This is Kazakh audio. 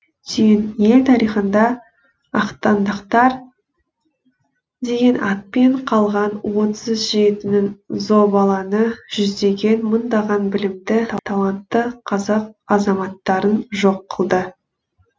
түйін ел тарихында ақтаңдақтар деген атпен қалған отыз жетінің зобалаңы жүздеген мыңдаған білімді талантты қазақ азаматтарын жоқ қылды